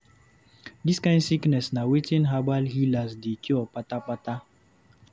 Dis kind sickness na wetin herbal healers dey cure kpata kpata.